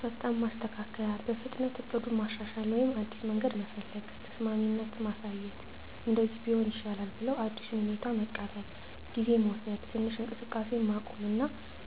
ፈጣን ማስተካከያ – በፍጥነት እቅዱን ማሻሻል ወይም አዲስ መንገድ መፈለግ። ተስማሚነት ማሳየት – “እንደዚህ ቢሆን ይሻላል” ብለው አዲሱን ሁኔታ መቀበል። ጊዜ መውሰድ – ትንሽ እንቅስቃሴን ማቆም እና